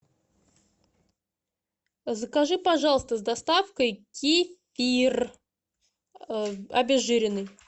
закажи пожалуйста с доставкой кефир обезжиренный